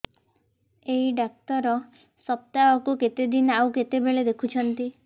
ଏଇ ଡ଼ାକ୍ତର ସପ୍ତାହକୁ କେତେଦିନ ଆଉ କେତେବେଳେ ଦେଖୁଛନ୍ତି